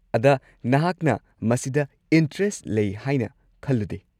ꯑꯗ ꯅꯍꯥꯛꯅ ꯃꯁꯤꯗ ꯢꯟꯇ꯭ꯔꯦꯁꯠ ꯂꯩ ꯍꯥꯏꯅ ꯈꯜꯂꯨꯗꯦ꯫